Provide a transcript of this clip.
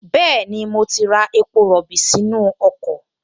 Bẹ́ẹ̀ni, mo ti ra epo rọ̀bì sínú ọkọ̀